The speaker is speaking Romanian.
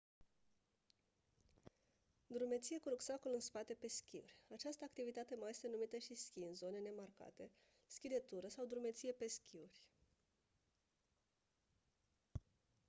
drumeție cu rucsacul în spate pe schiuri această activitate mai este numită și schi în zone nemarcate schi de tură sau drumeție pe schiuri